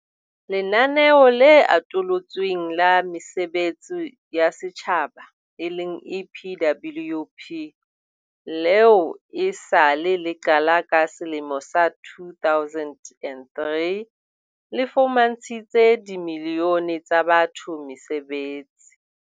Lenaneo le Atolotsweng la Mesebetsi ya Setjhaba eleng EPWP, leo e sa le le qala ka selemo sa 2003, le fumantshitse dimilione tsa batho mesebetsi.